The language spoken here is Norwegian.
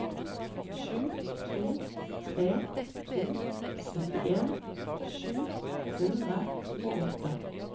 sju to tre to syttien sju hundre og åtte